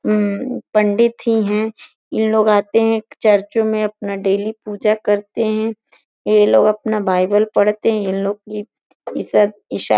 अम पंडित ही है। ये लोग आते हैं चर्चों में अपना डेली पूजा करते हैं। ये लोग अपना बईबाल पढ़ते है। इन लोग की ईफ ईसाई --